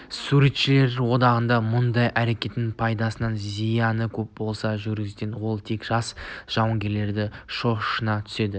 суретшілер одағының мұндай әрекетінің пайдасынан зияны көп осындай жүгенсіздігімен ол тек жас жауынгерді шошына түседі